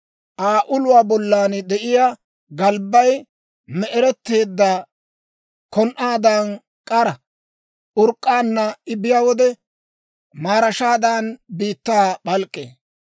Aa uluwaa bollan de'iyaa galbbay me"eretteedda kon"aadan k'ara; urk'k'aanna I biyaa wode, maarashaadan biittaa p'alk'k'ee.